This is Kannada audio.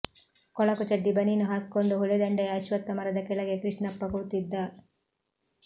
ಕೊಳಕು ಚಡ್ಡಿ ಬನೀನು ಹಾಕಿಕೊಂಡು ಹೊಳೆದಂಡೆಯ ಅಶ್ವತ್ಥ ಮರದ ಕೆಳಗೆ ಕೃಷ್ಣಪ್ಪ ಕೂತಿದ್ದ